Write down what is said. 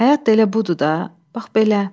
Həyat da elə budur da, bax belə.